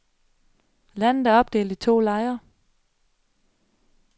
Landet er opdelt i to lejre.